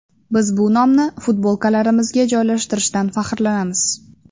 Biz bu nomni futbolkalarimizga joylashtirishdan faxrlanamiz.